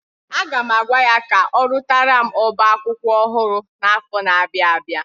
Aga m agwa ya ka ọrụtara m oba akwụkwọ ọhụrụ n'afọ na-abịa abịa.